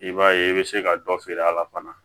I b'a ye i bɛ se ka dɔ feere a la fana